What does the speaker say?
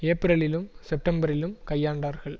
ஏப்பிரலிலும் செப்டம்பரிலும் கையாண்டார்கள்